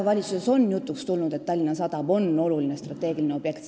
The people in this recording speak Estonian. Valitsuses on jutuks tulnud, et Tallinna Sadam on oluline strateegiline objekt.